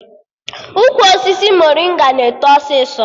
Ukwu osisi morịnga na-eto ọsịsọ